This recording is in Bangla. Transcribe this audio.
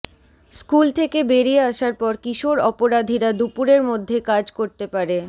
স্কুল থেকে বেরিয়ে আসার পর কিশোর অপরাধীরা দুপুরের মধ্যে কাজ করতে পারে